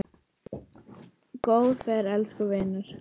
Góða ferð, elsku vinur.